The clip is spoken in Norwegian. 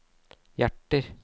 hjerter